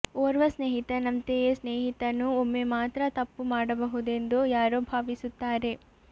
ಓರ್ವ ಸ್ನೇಹಿತನಂತೆಯೇ ಸ್ನೇಹಿತನು ಒಮ್ಮೆ ಮಾತ್ರ ತಪ್ಪು ಮಾಡಬಹುದೆಂದು ಯಾರೋ ಭಾವಿಸುತ್ತಾರೆ